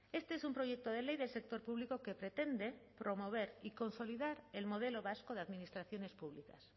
este es un proyecto de ley del sector público que pretende promover y consolidar el modelo vasco de administraciones públicas